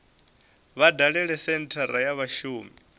vha dalele senthara ya vhashumi